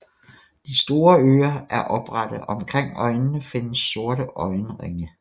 De store ører er oprette og omkring øjnene findes sorte øjenringe